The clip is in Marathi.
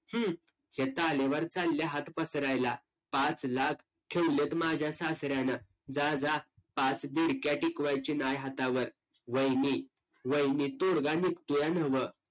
हम्म हे तालीवर चाल्या हात पसरायला पाच लाख ठेवल्यात माझ्या सासऱ्यांन जा जा पाच बुळक्या टीवायची न्हाय हातावर वहिनी वहिनी तोडगा निघतोय न्हवं